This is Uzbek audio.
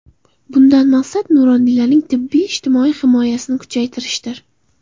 Bundan maqsad, nuroniylarning tibbiy-ijtimoiy himoyasini kuchaytirishdir.